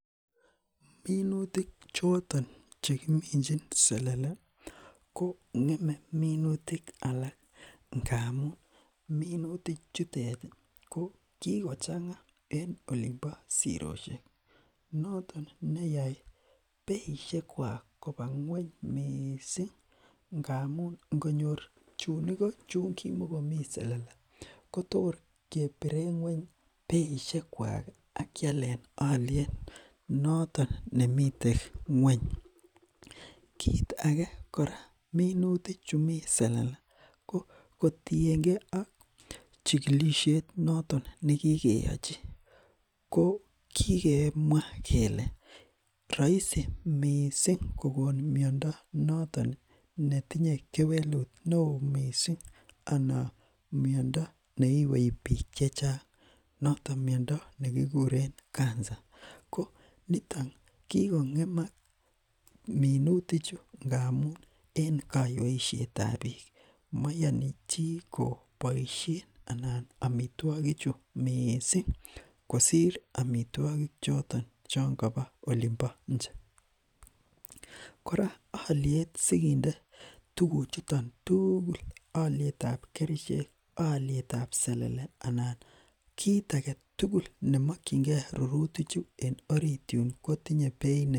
Minutik choton chekiminchin selele kong'eme minutik alak ingamuun minutik chutet ko kikochang'a en olimbo sirosiek noton neyae beisiek kuak koba ngueny, missing ingamuun ingot nyor chuun Iko chekimoko mi selele Kotor kebiren ngueny beishek kuak ih akialen aliet noton nemi ngueny ih, kit age kora minutik chu mi selele kotienge ak chikilisiet ih , noton nekikeachi , kokikemwa kele raisi missing kokon miando noton netinye kewelut neo missing anan miando neiwei bik chechang, miando nekikuren cancer. Ko niton mayani bik chechang boisien amituakik chu missing choton chon kabo Olin bo inche kora alietab kerichek, alietab selele anan kit agetugul nemakienge tukuk chu ko mi aliet ne mi barak